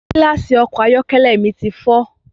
Gílàsì ọkọ̀ ayọ́kẹ́lẹ́ mi ti fọ́